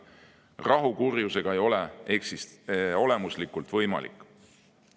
Rahu kurjusega ei ole olemuslikult võimalik.